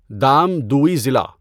دام دؤی ضلع